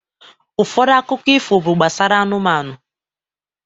Ụfọdụ akụkọ ifo bụ gbasara anụmanụ.